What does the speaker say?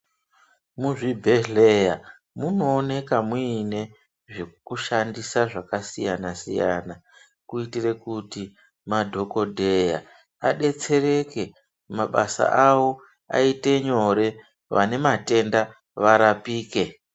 Muzvibhedhleya munooneka muine zveku shandisa zvaka siyana siyana kuitire kuti madhokodheya adetsereke mabasa awo ayite nyore vane matenda varapike.